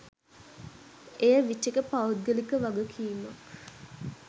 එය විටෙක පෞද්ගලික වගකීමක්